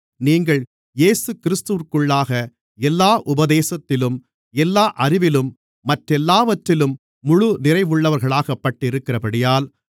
நீங்கள் இயேசுகிறிஸ்துவிற்குள்ளாக எல்லா உபதேசத்திலும் எல்லா அறிவிலும் மற்றெல்லாவற்றிலும் முழு நிறைவுள்ளவர்களாக்கப்பட்டிருக்கிறபடியால்